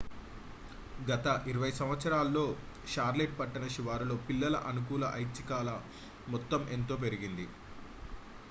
గత 20 సంవత్సరాల్లో షార్లెట్ పట్టణ శివారులో పిల్లల అనుకూల ఐచ్ఛికాల మొత్తం ఎంతో పెరిగింది